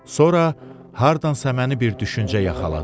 Sonra hardansa məni bir düşüncə yaxaladı.